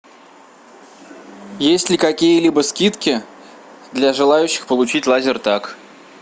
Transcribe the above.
есть ли какие либо скидки для желающих получить лазертаг